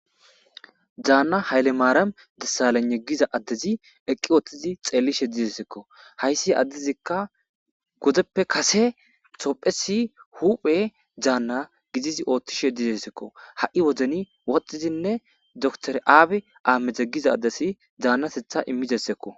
Daanna hayle maaram dessalene giza addezi eqqi ooththizi xeellishe dizesekko hayssi addezikka godeppe kase tophesi huphe daanna gidizi ooththishe dizesekko ha'i wozeni woxxizinne dotor aabe aamedze giza addesi daannasetha immidesekko.